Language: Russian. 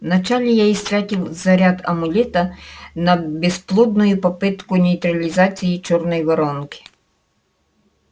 вначале я истратил заряд амулета на бесплодную попытку нейтрализации чёрной воронки